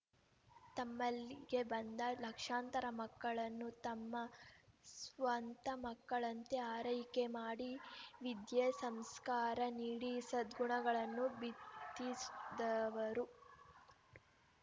ತಮ್ಮಲ್ಲಿಗೆ ಬಂದ ಲಕ್ಷಾಂತರ ಮಕ್ಕಳನ್ನು ತಮ್ಮ ಸ್ವಂತ ಮಕ್ಕಳಂತೆ ಆರೈಕೆ ಮಾಡಿ ವಿದ್ಯೆ ಸಂಸ್ಕಾರ ನೀಡಿ ಸದ್ಗುಣಗಳನ್ನು ಬಿತ್ತಿಸ್ ದವರು